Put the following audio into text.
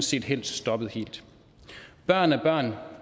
set helst stoppede helt børn er børn